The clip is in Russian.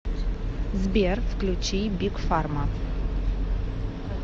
сбер включи биг фарма